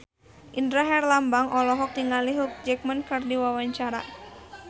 Indra Herlambang olohok ningali Hugh Jackman keur diwawancara